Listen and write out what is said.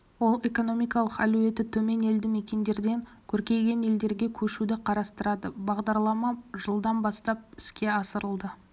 ол экономикалық әлеуеті төмен елді мекендерден көркейген жерлерге көшуді қарастырады бағдарлама жылдан бастап іске асырылды